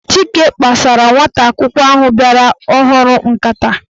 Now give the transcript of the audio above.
Chike kpasara nwata akwụkwọ ahụ bịara ọhụrụ nkata.